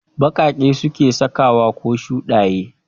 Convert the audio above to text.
Ɓaƙaƙe suke sakawa ko shuɗaye